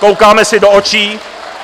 Koukáme si do očí.